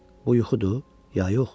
Bu yuxudur ya yox?